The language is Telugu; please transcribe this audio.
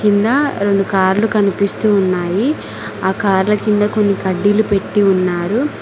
రెండు కార్లు కనిపిస్తూ ఉన్నాయి ఆ కార్ల కింద కొన్ని కడ్డీలు పెట్టి ఉన్నారు